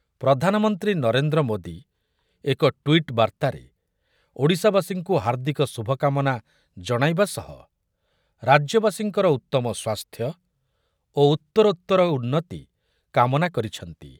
ପ୍ରଧାନମନ୍ତ୍ରୀ ନରେନ୍ଦ୍ର ମୋଦି ଏକ ଟ୍ୱିଟ୍ ବାର୍ତ୍ତାରେ ଓଡ଼ିଶାବାସୀଙ୍କୁ ହାର୍ଦ୍ଦିକ ଶୁଭକାମନା ଜଣାଇବା ସହ ରାଜ୍ୟବାସୀଙ୍କର ଉତ୍ତମ ସ୍ୱାସ୍ଥ୍ୟ ଓ ଉତ୍ତରୋତ୍ତର ଉନ୍ନତି କାମନା କରିଛନ୍ତି ।